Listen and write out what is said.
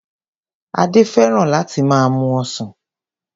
Adé fẹ́ràn láti máa mu ọsàn.